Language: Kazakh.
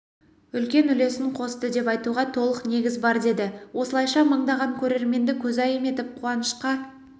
үлкен үлесін қосты деп айтуға толық негіз бар деді осылайша мыңдаған көрерменді көзайым етіп қуанышқа